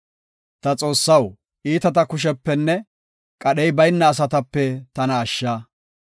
Ta Xoossaw, iitata kushepenne, qadhey bayna asatape tana ashsha.